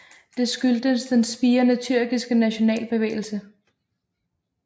Det skyldtes den spirende tyrkiske nationalbevægelse